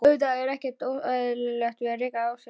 Auðvitað er ekkert óeðlilegt við það að reka sig á.